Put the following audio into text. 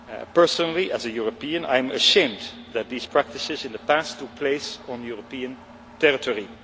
Personally, as a European, I am ashamed that these practices in the past took place on European territory.